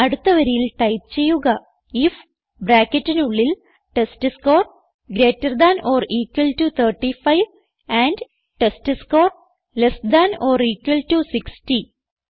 അടുത്ത വരിയിൽ ടൈപ്പ് ചെയ്യുക ഐഎഫ് ബ്രാക്കറ്റിനുള്ളിൽ test score greater than or equal to 35 and test score less than or equal to 60